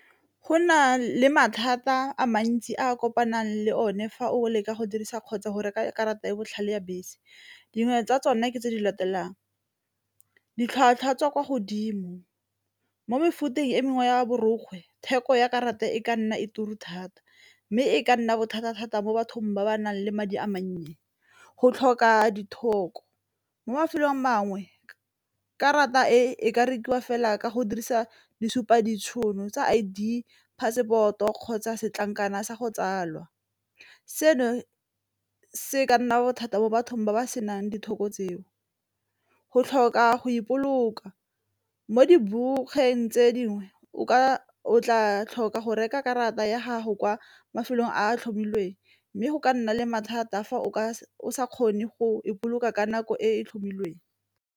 Go na le mathata a mantsi a kopanang le o ne fa o leka go dirisa kgotsa go reka karata ya botlhale ya bese, dingwe tsa tsone ke tse di latelang ditlhwatlhwa tsa kwa godimo, mo mefuteng e mengwe ya borokgwe theko ya karata e ka nna e ture thata, mme e ka nna bothata-thata mo bathong ba ba nang le madi a mannye, go tlhoka mo mafelong a mangwe karata e ka rekiwa fela ka go dirisa di supa ditšhono tsa I_D, passport-o kgotsa setlankana sa go tsalwa. Seno se ka nna bothata mo bathong ba ba senang tseo, go tlhoka go ipoloka, mo tse dingwe o tla tlhoka go reka karata ya gago kwa mafelong a a tlhomilweng, mme go ka nna le mathata a fa o ka o se kgone go ipoloka ka nako e e tlhomilweng.